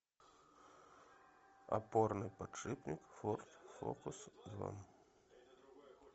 опорный подшипник форд фокус два